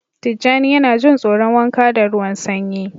Tijjani yana jin tsoron wanka da ruwan sanyi